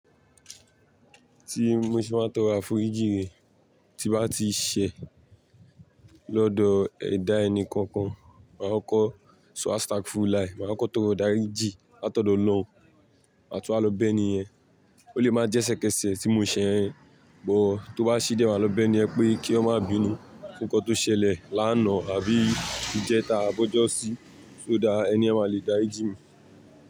Tí mo ṣe máa ń tọrọ àforíjì rèé, tí n bá ti ṣẹ̀ lọ́dọ̀ ẹ̀dá ẹni kankan, màá kọ́kọ́ sọ Astaghfirullahi, máa kọ́kọ́ tọrọ ìdáríjì látọ̀dọ̀ Ọlọ́run, màá tún wá lọ bẹ́ni yẹn. Ó lè má jẹ́ ẹsẹ̀kẹṣẹ̀ tí mo ṣẹ̀ yẹn, but tó bá ṣe díẹ̀, màá lọ bẹ́ni yẹn pé kí ó má bínú fún nǹkan tó ṣẹlẹ̀ lánàá àbí ìjẹta ab'ọ́jọ́sí. So that ẹni yẹn máa lè dárí jì mí.